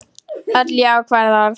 Öll jákvæð orð.